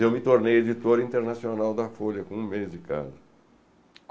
Eu me tornei editor internacional da Folha com um mês de casa.